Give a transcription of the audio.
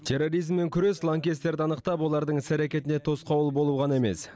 терроризммен күрес лаңкестерді анықтап олардың іс әрекетіне тосқауыл болу ғана емес